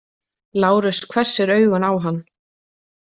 Lárus hvessir augun á hann.